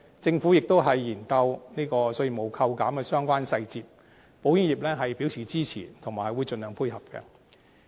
政府亦研究稅務扣減的相關細節，保險業表示支持，以及會盡量配合。